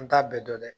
An t'a bɛɛ dɔn dɛ